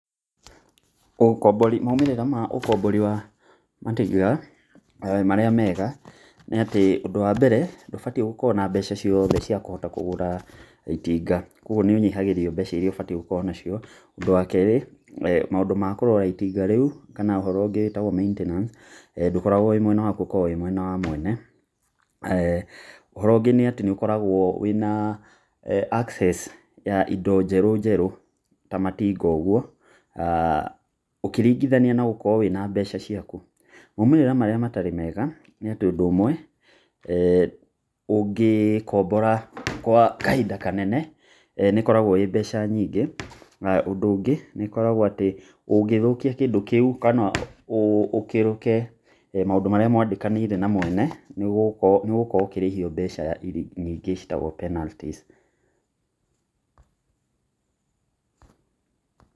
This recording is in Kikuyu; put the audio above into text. Maumĩrĩra ma ũkombori wa matinga marĩa mega nĩ atĩ ũndũ wa mbere ndũbatiĩ gũkorwo na mbeca ciothe cia kũhota kũgũra itinga, koguo nĩ ũnyihagĩrio mbeca iria ũbatie gũkorwo nacio. Ũndũ wa kerĩ maũndũ ma kũrora itinga rĩu kana ũhoro ũngĩ wĩtagwo maintenance ndũkoragwo wĩ mwena waku ũkoragwo mwena wa mwene. ũhoro ũngĩ nĩ ũkoragwo wĩna access ya indo njeru njerũ ta matinga ũguo ũkĩringithania na gũkorwo wĩna mbeca ciaku. Maumĩrĩra marĩa matarĩ mega nĩ atĩ ũndũ ũmwe ũngĩkombora gwa kahinda kanene nĩkoragwo ĩ mbeca nyingĩ, na ũndũ ũngĩ ũngĩthũkia kĩndũ kĩu kana ũkĩrũke maũndũ marĩa mwandĩkanĩire na mwene, nĩũgũkorwo ũkĩrĩhio mbeca ingĩ ciĩtagwo penalties